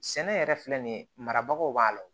Sɛnɛ yɛrɛ filɛ nin ye marabagaw b'a la